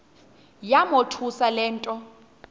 yamothusa le nto